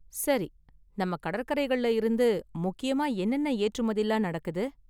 சரி! நம்ம​ கடற்கரைகள்ல இருந்து ​முக்கியமா என்னென்ன ஏற்றுமதிலாம் நடக்குது?